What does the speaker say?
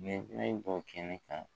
bɔ kɛnɛ kan